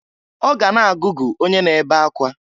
Ọ ga na-agụgụ onye na-ebe akwa.